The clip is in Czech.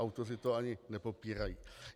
Autoři to ani nepopírají.